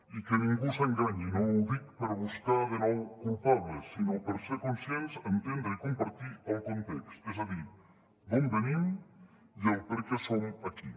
i que ningú s’enganyi no ho dic per buscar de nou culpables sinó per ser conscients entendre i compartir el context és a dir d’on venim i el perquè som aquí